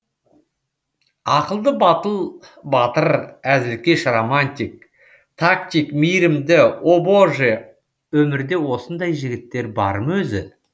ақылды батыл батыр әзілкеш романтик тактик мейірімді о боже өмірде осындай жігіттер бар ма өзі